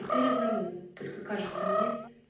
теперь одному только кажется мне